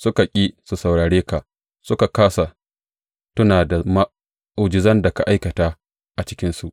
Suka ƙi su saurare ka, suka kāsa tuna da mu’ujizan da ka aikata a cikinsu.